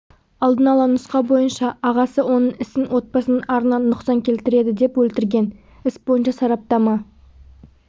алдын ала нұсқа бойынша ағасы оның ісін отбасының арына нұқсан келтіреді деп өлтірген іс бойынша сараптама